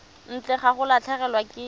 ntle ga go latlhegelwa ke